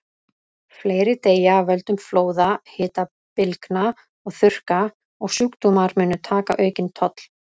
Fleiri deyja af völdum flóða, hitabylgna og þurrka, og sjúkdómar munu taka aukinn toll.